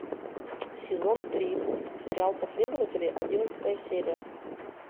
сезон три сериал последователи одиннадцатая серия